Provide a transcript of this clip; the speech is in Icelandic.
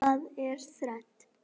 Það er þrennt.